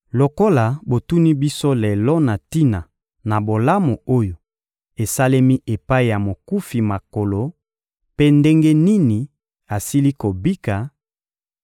Lokola botuni biso lelo na tina na bolamu oyo esalemi epai ya mokufi makolo mpe ndenge nini asili kobika,